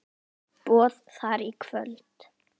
Boð þar í kvöld.